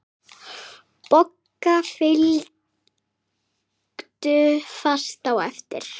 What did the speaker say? Bogga fylgdu fast á eftir.